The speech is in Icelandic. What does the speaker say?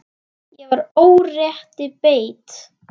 Ég var órétti beitt.